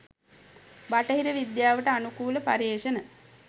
බටහිර විද්‍යාවට අනුකූල පර්යේෂණ